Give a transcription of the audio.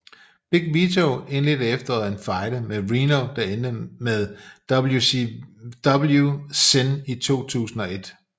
Big Vito indledte i efteråret en fejde med Reno der endte ved WCW Sin i 2001